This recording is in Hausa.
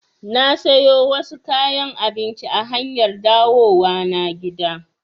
Na sayo wasu kayan abinci a hanyar dawowa na gida